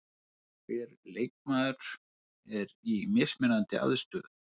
Hver leikmaður er í mismunandi aðstöðu.